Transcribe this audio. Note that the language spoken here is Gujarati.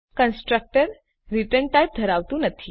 કન્સ્ટ્રક્ટર રીટર્ન ટાઇપ ધરાવતું નથી